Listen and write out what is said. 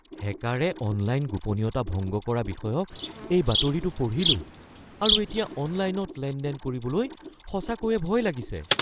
হেকাৰে online গোপনীয়তা ভংগ কৰা বিষয়ক এই বাতৰিটো পঢ়িলোঁ আৰু এতিয়া অনলাইনত লেনদেন কৰিবলৈ সঁচাকৈয়ে ভয় লাগিছে। (বন্ধু ১)